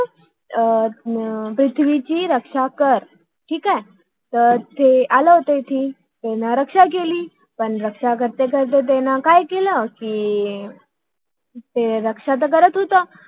पृथ्वी ची रक्षा कर आह ते आले होते इथे पण रक्षा करता करता त्यांनी काय केला अर पण त्यांनी रक्षा करता करता काय केलं कि ते द्राक्ष तेर करत होत